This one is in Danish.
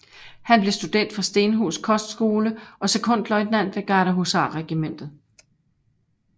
Han blev student fra Stenhus Kostskole og sekondløjtnant ved Gardehusarregimentet